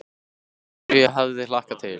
Eins og ég hafði hlakkað til.